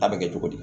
A bɛ kɛ cogo di